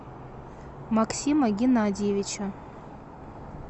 максима геннадьевича